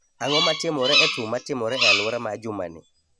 Ang�o ma timore e thum ma timore e alwora ma juma ni?